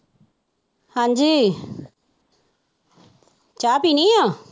ਹਾਂਜੀ ਚਾਹ ਪੀਣੀ ਆ,